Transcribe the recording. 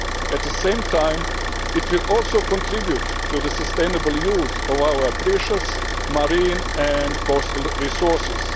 At the same time, it will also contribute to the sustainable use of our precious marine and coastal resources.